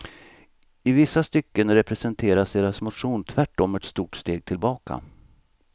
I vissa stycken representerar deras motion tvärtom ett stort steg tillbaka.